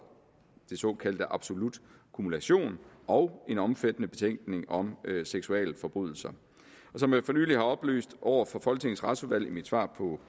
den såkaldte absolut kumulation og en omfattende betænkning om seksualforbrydelser og som jeg for nylig har oplyst over for folketingets retsudvalg i mit svar på